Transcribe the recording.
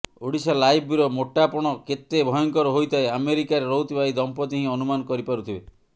Odisha live bureau ମୋଟାପଣ କେତେ ଭୟଙ୍କର ହୋଇଥାଏ ଆମେରିକାରେ ରହୁଥିବା ଏହି ଦମ୍ପତି ହିଁ ଅନୁମାନ କରିପାରୁଥିବେ